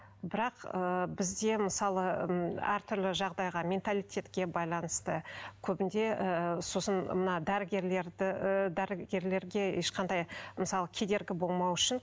бірақ ы бізде мысалы м әртүрлі жағдайға менталитетке байланысты көбінде ы сосын мына дәрігерлерді дәрігерлерге ешқандай мысалы кедергі болмау үшін